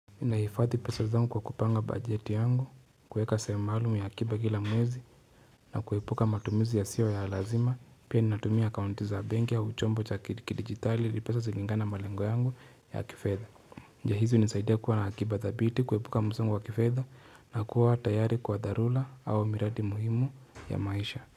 Ninahifadhi pesa zangu kwa kupanga bajeti yangu, kuweka sehemu maalumu ya akiba kila mwezi, na kuepuka matumizi yasiyo ya lazima, pia ninatumia akaunti za benki au chombo cha kidijitali ili pesa zilingane na malengo yangu ya kifedha. Njia hizi hunisaidia kuwa na akiba thabiti, kuepuka msongo wa kifedha, na kuwa tayari kwa dharula au miradi muhimu ya maisha.